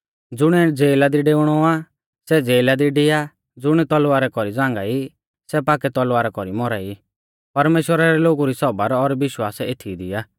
ज़ुणिऐ ज़ेला दी डेउणौ आ सै ज़ेला दी डिआ आ ज़ुण तलवारा कौरी झ़ांगाई सै पाक्कै तलवारा कौरी मौरा ई परमेश्‍वरा रै लोगु री सौबर और विश्वास एथीई दी आ